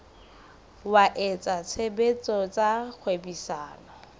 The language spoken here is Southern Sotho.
wa etsa tshebetso tsa kgwebisano